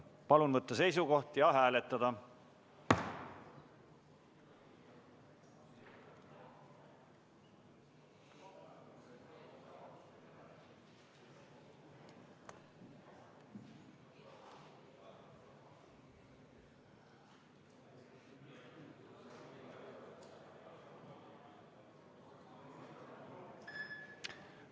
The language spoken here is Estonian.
Palun võtta seisukoht ja hääletada!